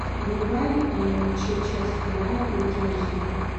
врубай че часть вторая ультра эйч ди